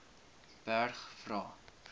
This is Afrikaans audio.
berg vra